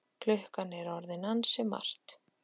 Klukkan er orðin ansi margt.